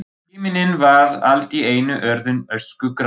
Himinninn var allt í einu orðinn öskugrár.